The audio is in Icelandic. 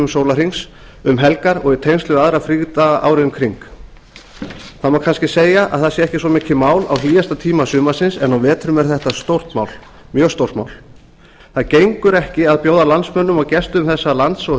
sólarhrings um helgar og í tengslum við aðra frídaga árið um kring það má kannski segja að það sé ekki svo mikið mál á hlýjasta tíma sumarsins en á vetrum er þetta stórt mál mjög stórt mál það gengur ekki að bjóða landsmönnum og gestum þessa lands og